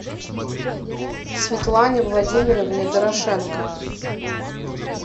светлане владимировне дорошенко